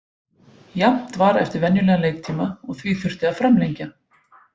Jafnt var eftir venjulegan leiktíma og því þurfti að framlengja.